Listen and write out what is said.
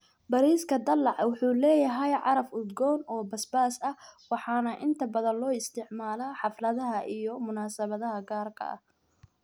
Bariiska dalac wuxuu leeyahay caraf udgoon oo basbaas ah waxaana inta badan loo isticmaalaa xafladaha iyo munaasabadaha gaarka ah.